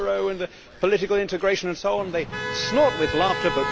the euro and the political integration, and so on, they snort with laughter.